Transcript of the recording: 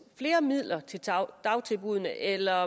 flere midler til dagtilbuddene eller